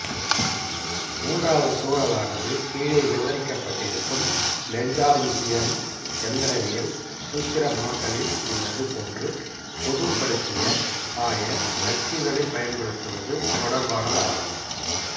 மூன்றாவது சூழலானது கீழே விவரிக்கப்பட்டிருக்கும் லெக்ராஞ்சியன் எந்திரவியல் சூத்திரமாக்கலில் உள்ளது போன்று பொதுப்படுத்திய ஆய அச்சுகளைப் பயன்படுத்துவது தொடர்பானதாகும்